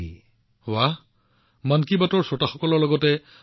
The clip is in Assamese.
সিহঁতে আৰু সিহঁতৰ সহপাঠীসকলে আপোনালৈ ধন্যবাদ জনাই চিঠি লিখিছে